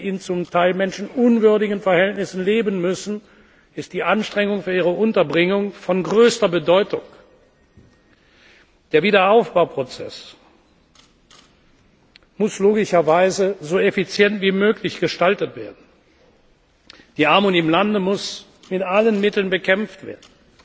Weil sie in zum Teil menschenunwürdigen Verhältnissen leben müssen, ist die Anstrengung um ihre Unterbringung von größter Bedeutung. Der Wiederaufbauprozess muss logischerweise so effizient wie möglich gestaltet werden. Die Armut im Lande muss mit allen Mitteln bekämpft werden,